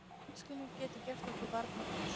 Tunglskinið getur gert okkur varnarlaus.